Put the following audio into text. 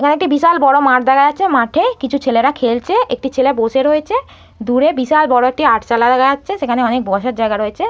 এখানে একটি বিশাল বড় মাঠ দেখা যাচ্ছে মাঠে কিছু ছেলেরা খেলছে একটি ছেলে বসে রয়েছে। দূরে বিশাল বড় একটা আটচালা দেখা যাচ্ছে সেখানে অনেক বসার জায়গা রয়েছে।